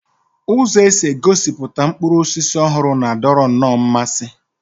Ụzọ e si egosipụta mkpụrụ osisi ọhụrụ na-adọrọ nnọọ mmasị